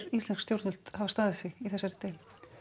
íslensk stjórnvöld hafa staðið sig í þessari deilu